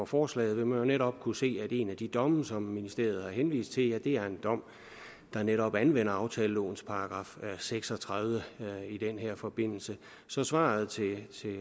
forslaget vil man jo netop kunne se at en af de domme som ministeriet har henvist til er en dom der netop anvender aftalelovens § seks og tredive i den her forbindelse så svaret til